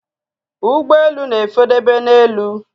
Ụgbọelu na efe dobe na élú